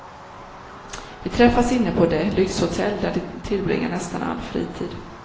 Vi träffas inne på det lyxhotell där de tillbringar nästan all fritid.